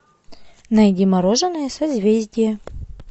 найди мороженое созвездие